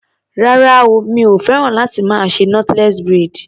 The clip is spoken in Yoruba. Rárá o, mi ò féràn láti más ṣe knotless braid.